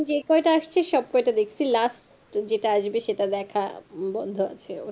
যেই কয়টা আসছে সব কয়টা দেখছি last যেটা আসবে সেটা দেখা বন্ধ আছে ও